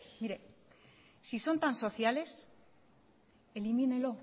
mire si son tan sociales elimínenlo